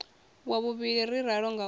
wa vhuvhili ri ralo ngauri